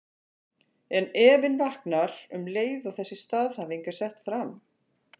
En efinn vaknar um leið og þessi staðhæfing er sett fram.